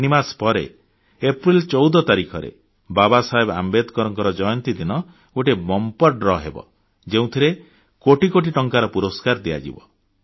ତିନିମାସ ପରେ ଏପ୍ରିଲ 14 ତାରିଖରେ ବାବାସାହେବ ଆମ୍ବେଦକରଙ୍କ ଜୟନ୍ତୀ ଦିନ ଗୋଟିଏ ବମ୍ପର ଦ୍ରୱ ହେବ ଯେଉଁଥିରେ କୋଟି କୋଟି ଟଙ୍କାର ପୁରସ୍କାର ଦିଆଯିବ